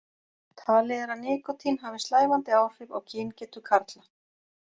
Talið er að nikótín hafi slævandi áhrif á kyngetu karla.